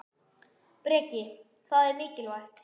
Breki: Það er mikilvægt?